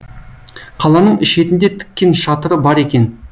қаланың шетінде тіккен шатыры бар екен